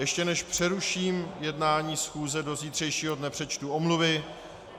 Ještě než přeruším jednání schůze do zítřejšího dne, přečtu omluvy.